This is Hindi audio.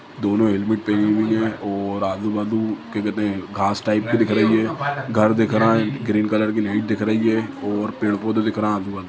दोनों हेलमेट पेहने हुई है और आजु-बाजु क्या कहते है घास टाइप का दिख रहा है घर दिख रहा है ग्रीन कलर की नेट दिख रही है और पेड़-पौधे दिख रहे है आजु-बाजु।